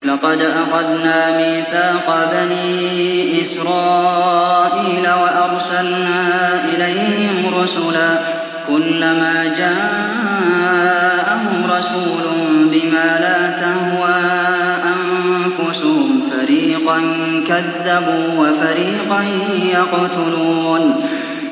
لَقَدْ أَخَذْنَا مِيثَاقَ بَنِي إِسْرَائِيلَ وَأَرْسَلْنَا إِلَيْهِمْ رُسُلًا ۖ كُلَّمَا جَاءَهُمْ رَسُولٌ بِمَا لَا تَهْوَىٰ أَنفُسُهُمْ فَرِيقًا كَذَّبُوا وَفَرِيقًا يَقْتُلُونَ